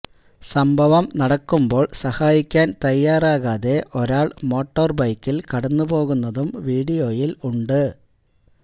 സംഭവം നടക്കുമ്പോൾ സഹായിക്കാൻ തയ്യാറാകാതെ ഒരാള് മോട്ടോര് ബൈക്കിൽ കടന്നുപോകുന്നതും വീഡിയോയിൽ ഉണ്ട്